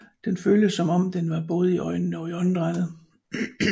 Den føltes som om den var både i øjnene og i åndedrættet